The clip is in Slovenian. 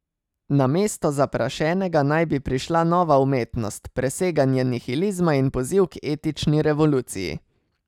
Na mesto zaprašenega naj bi prišla nova umetnost, preseganje nihilizma in poziv k etični revoluciji.